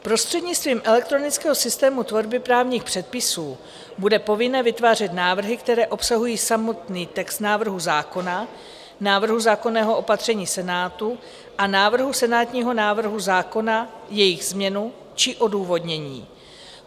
Prostřednictvím elektronického systému tvorby právních předpisů bude povinné vytvářet návrhy, které obsahují samotný text návrhu zákona, návrhu zákonného opatření Senátu a návrhu senátního návrhu zákona, jejich změnu či odůvodnění.